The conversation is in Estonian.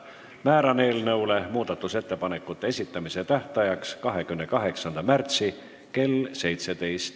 Määran eelnõu muudatusettepanekute esitamise tähtajaks 28. märtsi kell 17.